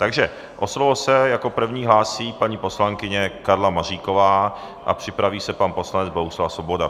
Takže o slovo se jako první hlásí paní poslankyně Karla Maříková a připraví se pan poslanec Bohuslav Svoboda.